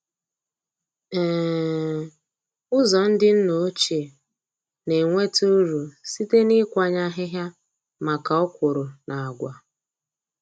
um Ụzọ ndị nna ochie na-enweta uru site na ịkwanye ahịhịa maka okwụrụ na agwa.